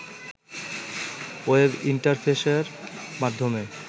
web ইন্টারফেসের মাধ্যমে